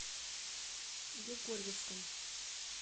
егорьевском